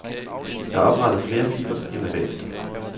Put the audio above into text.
Der er oprettet flere filer end nødvendigt.